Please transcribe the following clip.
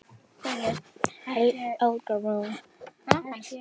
Helga Rún.